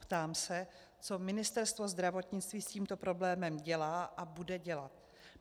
Ptám se, co Ministerstvo zdravotnictví s tímto problémem dělá a bude dělat.